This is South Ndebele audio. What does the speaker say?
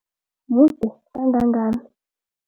Mude kangangani?